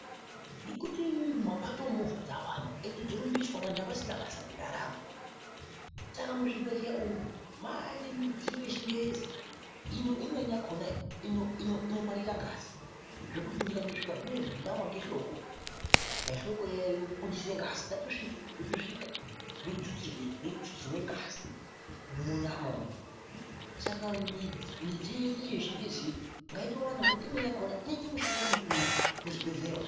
Nekuti mumapato umu movha dzawanda ende dzorumbiswa vanhu avasisina basa nendaramo saka muzvibhehleya umu mane midziyo yechingezi imweni yakona inongwarira ngazi zvekuti ndikato svika zvinoizvi ndawa nehloko dani hloko iya yobudise ngazi ndatosvika, ndotosvika ndototustirwe ngazi munyama umu saka midziyo yeduyo yechingeziyo ngaitowanda ngekuti imweni yakona inoite mishando mikuru muzvibhehleya umu.